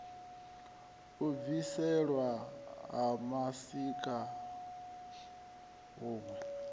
u bviselwa ha mashika huṋwe